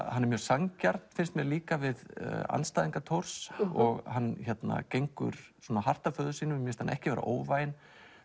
hann er mjög sanngjarn finnst mér líka við andstæðinga Thors og hann gengur hart að föður sínum en mér finnst hann ekki vera óvæginn